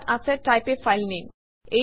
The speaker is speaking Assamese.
ইয়াত আছে টাইপ a ফাইল নামে